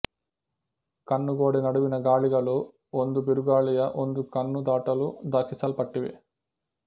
ಕಣ್ಣು ಗೋಡೆ ನಡುವಿನ ಗಾಳಿಗಳು ಒಂದು ಬಿರುಗಾಳಿಯ ಒಂದು ಕಣ್ಣು ದಾಟಲು ದಾಖಲಿಸಲ್ಪಟ್ಟಿವೆ